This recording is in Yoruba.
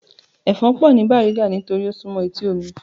Ẹ̀fọn pọ̀ ni Bariga nítorí ó súmọ́ etí omi